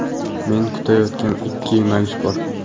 Men kutayotgan ikki yo‘nalish bor.